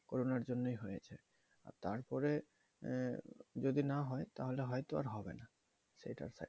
করুনার জন্যই হয়েছে তারপরে যদি না হয় তাহলে হয়তো আর হবে না